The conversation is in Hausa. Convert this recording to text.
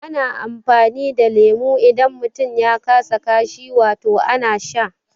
Ana amfani da leme idan mutum ya kasa kashi, wato ana sha